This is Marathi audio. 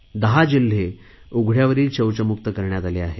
10 जिल्हे उघडयावरील शौचमुक्त करण्यात आले आहेत